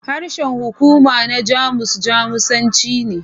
Harshen hukuma na Jamus Jamusanci ne.